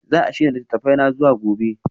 Za a shirya littattafana zuwa gobe?